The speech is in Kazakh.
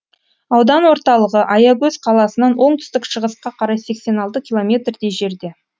аудан орталығы аягөз қаласынан оңтүстік шығысқа қарай сексен алты километрдей жерде